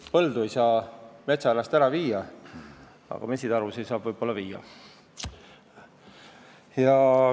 Põldu ei saa metsa äärest ära viia, aga mesitarusid võib-olla saab.